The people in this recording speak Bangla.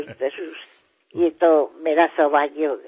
হ্যাঁ হ্যাঁ অতি অবশ্যই সে তো আমার সৌভাগ্য হবে